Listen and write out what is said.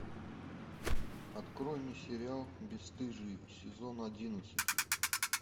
открой мне сериал бесстыжие сезон одиннадцать